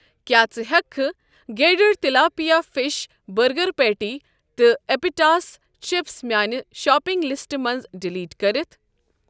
کیٛاہ ژٕ ہٮ۪کہٕ گیڈرے تِلاپیا فِش بٔرگر پیٹی تہٕ اٮ۪پِِٹاس چپس میاٛنہِ شاپِنٛگ لِسٹہٕ منٛزٕ ڈلیٹ کٔرِتھ ؟